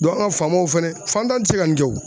dɔn an ka faamaaw fɛnɛ fantan te se ka nin kɛ o